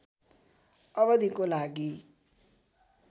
अवधिको लागि